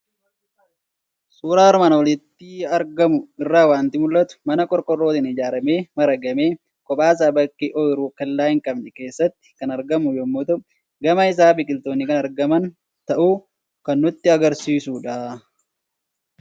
Suuraa armaan olitti argamu irraa waanti mul'atu; mana qorqoorrootin ijaaramee maragamee kophaasa bakkee oyiruu kellaa hin qabne keessatti kan argamu yommuu ta'u, gama isaa biqiltoonnis kan argaman ta'uusaa kan nutti agarsiisudha.